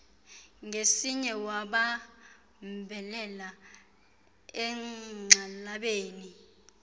ngesinye wabambelela egxalabeni